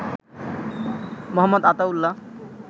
Md. Ataullah